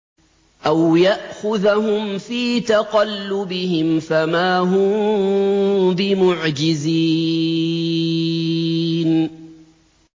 أَوْ يَأْخُذَهُمْ فِي تَقَلُّبِهِمْ فَمَا هُم بِمُعْجِزِينَ